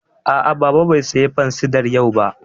A'a, Baba bai saya fansidar yau ba